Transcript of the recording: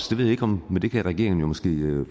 ved ikke om regeringen måske kan